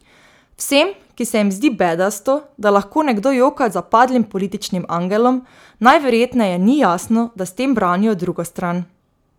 Vsem, ki se jim zdi bedasto, da lahko nekdo joka za padlim političnim angelom, najverjetneje ni jasno, da s tem branijo drugo stran.